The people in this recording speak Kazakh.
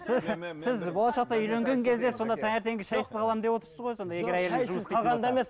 сіз сіз болашақта үйленгенген кезде сонда таңертеңгі шайсыз қаламын деп отырсыз ғой сонда